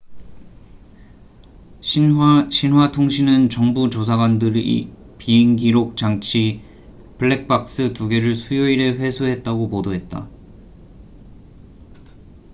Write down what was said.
신화xinhua통신은 정부 조사관들이 비행기록 장치 '블랙박스' 2개를 수요일에 회수했다고 보도했다